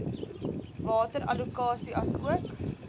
water allokasie asook